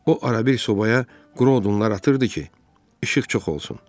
O arabir sobaya quru odunlar atırdı ki, işıq çox olsun.